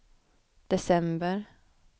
december